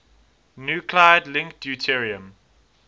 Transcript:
nuclide link deuterium